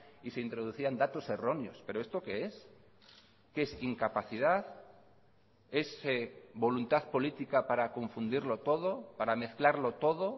y se introducían datos erróneos pero esto qué es qué es incapacidad es voluntad política para confundirlo todo para mezclarlo todo